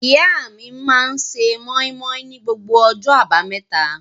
Ìyá mi máa ń se móímóí ni gbogbo ọjọ́ àbámẹ́ta.